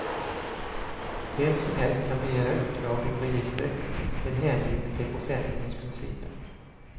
Vem som helst kan begära utdrag ur registret med hänvisning till offentlighetsprincipen.